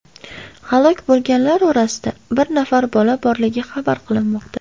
Halok bo‘lganlar orasida bir nafar bola borligi xabar qilinmoqda.